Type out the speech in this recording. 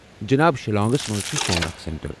جناب، شیلانگس منٛز چھٗ سون اکھ سینٹر۔